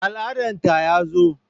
Al'adan ta ya zo